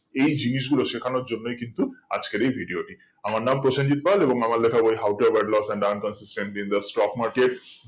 এই জিনিস গুলোই শেখানোর জন্য কিন্তু আজকের এই video টি আমার নাম প্রসেনজিৎ পল এবং আমার লেখা বই how to avoid loss and earn consistently in the stock market